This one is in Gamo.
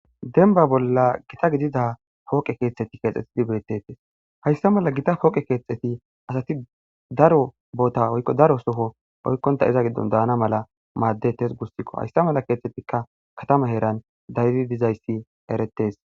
denba bolla gita gidida pooqe keetteti keexxetidi beetetes hayssa mala gita pooqe keexxeti asati daro boota oykko daro soho oykkonta iza giddon daana mala maaddetes gussikko hayssa mala keethtettikka katama heeran daydi dizayssi eretes